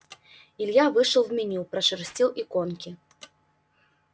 илья вышел в меню пошерстил иконки